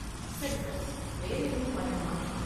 சரி, சார். வேற எதுவும் பண்ணனுமா?